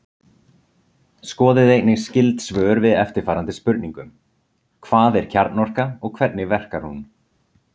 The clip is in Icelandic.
Skoðið einnig skyld svör við eftirfarandi spurningum: Hvað er kjarnorka og hvernig verkar hún?